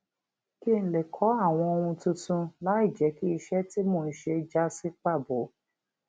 kí n lè kó àwọn ohun tuntun láìjé kí iṣé tí mò ń ṣe já sí pàbo